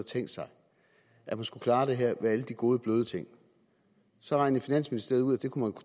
tænkt sig at man skulle klare det her med alle de gode bløde ting så regnede finansministeriet ud at det kunne